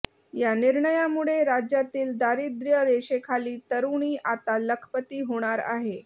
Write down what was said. या निर्णयामुळे राज्यातील दारिद्र्य रेषेखाली तरूणी आता लखपती होणार आहे